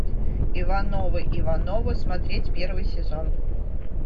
ивановы ивановы смотреть первый сезон